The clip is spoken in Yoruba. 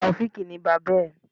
Tàòfíkì ni bàbá ẹ̀.